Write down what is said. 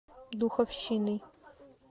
духовщиной